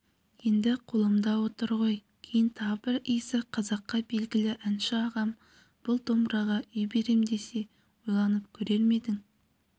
енді қолымда отыр ғой кейін тағы бір исі қазаққа белгілі әнші ағам бұл домбыраға үй берем десе ойланып көрер ме едің